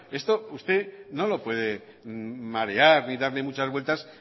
esto usted no lo puede marear ni darle mucha vueltas